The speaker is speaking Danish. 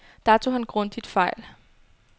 Der tog han grundigt fejl.